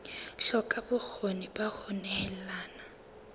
hloka bokgoni ba ho nehelana